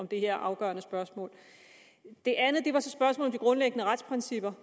det her afgørende spørgsmål det andet var så spørgsmålet om de grundlæggende retsprincipper